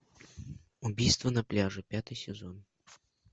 убийство на пляже пятый сезон